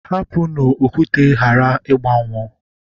Hapụnụ okwute ghara ịgbanwuo.